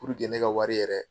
Puruke ne ka wari yɛrɛ